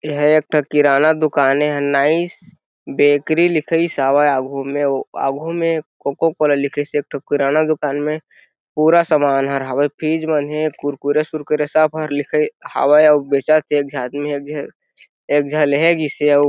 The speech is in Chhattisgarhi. यहाँ एक ठो किराना दुकान हे यहाँ नाइस बेकरी लिखइस हावे आघू में वो आघू में ओ कोका कोला लिखइस हवे एक ठो किराना दुकान में पूरा सामान हर हवे और फ़िज मनहे कुरकुरे - सुरकुरे सब हर लिखाइस हावे और बेचथे एक झा आदमी हे एक झन लेहगीसे।